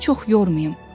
Onu çox yormayım.